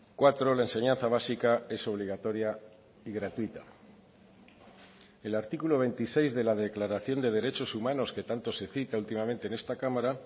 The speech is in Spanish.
cuatro la enseñanza básica es obligatoria y gratuita el artículo veintiséis de la declaración de derechos humanos que tanto se cita últimamente en esta cámara